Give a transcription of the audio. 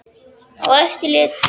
Á eftir lét ég mig hverfa í Osló.